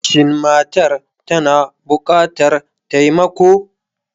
Shin matar tana bukatar taimako?